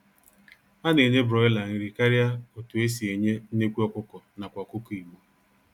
A na-enye Broiler nri karịa otunn e si enye nnekwu ọkụkọ nakwa ọkụkọ Igbo.